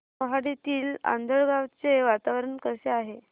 मोहाडीतील आंधळगाव चे वातावरण कसे आहे